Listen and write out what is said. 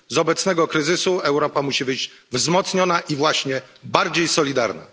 Z obecnego kryzysu Europa musi wyjść wzmocniona i właśnie bardziej solidarna.